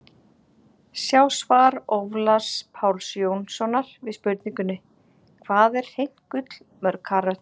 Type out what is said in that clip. Sjá svar Ólafs Páls Jónssonar við spurningunni: Hvað er hreint gull mörg karöt?